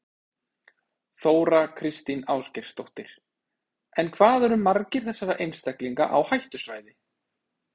Þóra Kristín Ásgeirsdóttir: En hvað eru margir þessara einstaklinga á hættusvæði?